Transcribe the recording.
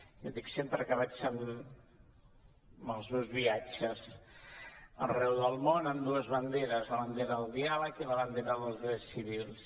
jo dic sempre que vaig als meus viatges arreu del món amb dues banderes la bandera del diàleg i la bandera dels drets civils